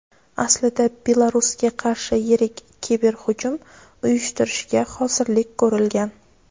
aslida Belarusga qarshi yirik kiberhujum uyushtirishga hozirlik ko‘rilgan.